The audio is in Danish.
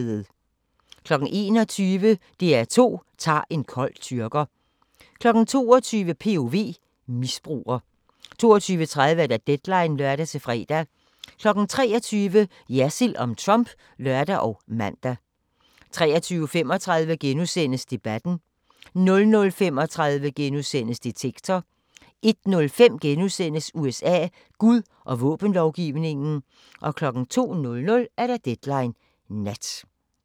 21:00: DR2 tager en kold tyrker 22:00: POV – misbruger 22:30: Deadline (lør-fre) 23:00: Jersild om Trump (lør og man) 23:35: Debatten * 00:35: Detektor * 01:05: USA: Gud og våbenlovgivningen * 02:00: Deadline Nat